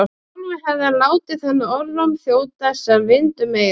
Sjálfur hefði hann látið þennan orðróm þjóta sem vind um eyru.